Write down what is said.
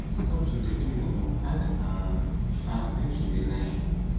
stop to dey do your own add um am make she dey learn